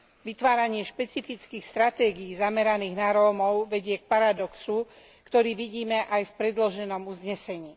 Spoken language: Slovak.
Vytváranie špecifických stratégií zameraných na Rómov vedie k paradoxu, ktorý vidíme aj v predloženom uznesení.